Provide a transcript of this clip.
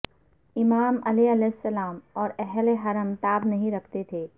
امام علیہ السلام اور اہل حرم تاب نہیں رکھتے تھے